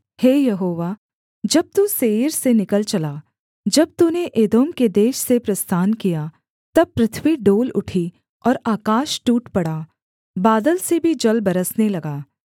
हे Jehovah जब तू Seir से निकल चला जब तूने एदोम के देश से प्रस्थान किया तब पृथ्वी डोल उठी और आकाश टूट पड़ा बादल से भी जल बरसने लगा